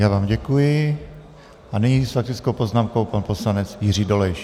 Já vám děkuji a nyní s faktickou poznámkou pan poslanec Jiří Dolejš.